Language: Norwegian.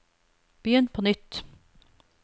begynn på nytt